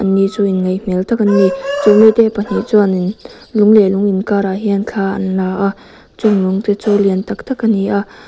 chu in ngaih hmel tak anni chumi te pahnih chuanin lung leh lung in karah thla an la a chung lung te chu lian taktak a ni a--